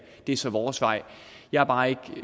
er så vores vej jeg er bare ikke